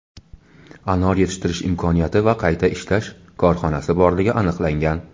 anor yetishtirish imkoniyati va qayta ishlash korxonasi borligi aniqlangan.